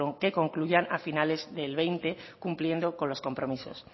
que concluyan a finales de dos mil veinte cumpliendo con los compromisos